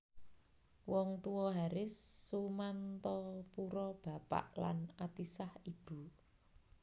Wong Tuwa Haris Sumantapura bapak lan Atisah ibu